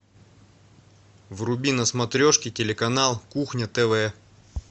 вруби на смотрешке телеканал кухня тв